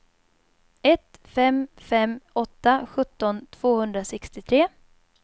ett fem fem åtta sjutton tvåhundrasextiotre